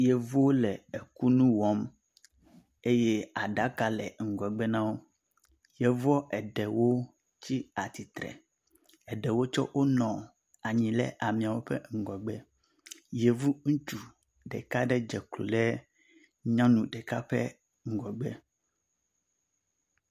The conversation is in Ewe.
Yevuwo le kunuwɔm eye aɖaka le ŋgɔgbe na wo. Yevua eɖewo tsi atsitre, Ɖewo tsɛ nɔ anyi ɖe ameawo ƒe ŋgɔgbe. Yevu ŋutsu ɖeka aɖe dze klo ɖe nyɔnu ɖeka ƒe ŋgɔgbe.